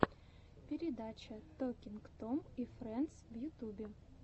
передача токинг том и френдс в ютюбе